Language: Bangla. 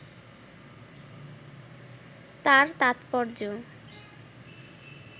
তার তাৎপর্য